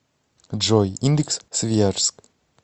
джой индекс свияжск